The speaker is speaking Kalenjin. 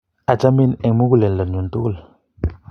achamin eng' muguleldo nyun tugul